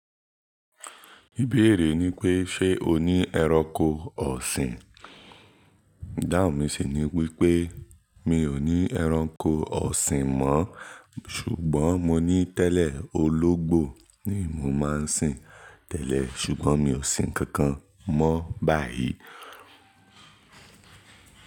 Ìbéèrè ni pé ṣe o ní ẹranko ọ̀sìn? Dáhùn mi sì ni wípé mi ò ní ẹranko ọ̀sìn mọ́ ṣùgbọ́n mo ní tẹ́lẹ̀ ológbò ni mò ń sìn tẹ́lẹ̀ ṣùgbọ́n mi ò sìn kànkàn mọ́ báyìí.